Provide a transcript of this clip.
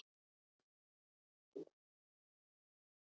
Þið vitið.